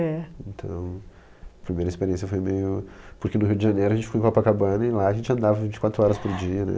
É. Então, a primeira experiência foi meio... Porque no Rio de Janeiro a gente ficou em Copacabana e lá a gente andava vinte e quatro horas por dia, né?